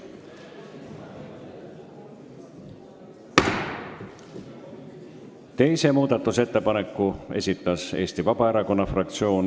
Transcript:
Teise muudatusettepaneku esitas Eesti Vabaerakonna fraktsioon.